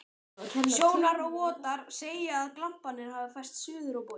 Sjónarvottar segja, að glamparnir hafi færst suður á bóginn.